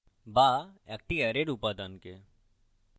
বা একটি অ্যারের উপাদানকে